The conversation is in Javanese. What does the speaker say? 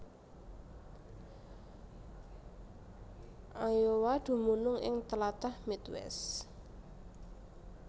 Iowa dumunung ing tlatah Midwest